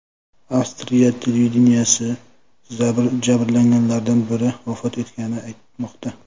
Avstriya televideniyesi jabrlanganlardan biri vafot etganini aytmoqda.